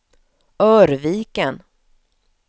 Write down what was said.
Örviken